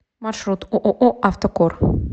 маршрут ооо автокор